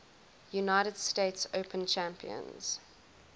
united states open champions